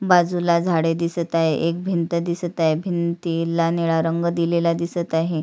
बाजूला झाडे दिसत आहे एक भिंत दिसत आहे भिंतीला निळा रंग दिलेला दिसत आहे.